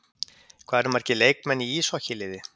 Hvað eru margir leikmenn í íshokkí-liði?